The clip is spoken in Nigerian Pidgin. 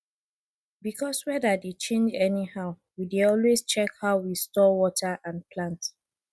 because weather dey change anyhow we dey always check how we store water and plant